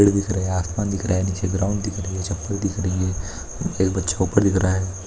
पेड़ दिख रहे आसमान दिखर रहा है नीचे ग्राउंड दिख रही है चप्पल दिख रही है एक बच्चा ऊपर दिख रहा है।